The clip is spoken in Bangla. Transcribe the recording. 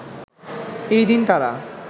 এই দিন তারা